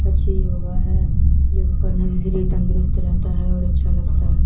अच्छी योगा हैं योगा करना तंदुरुस्त रहता हैं और अच्छा लगता हैं।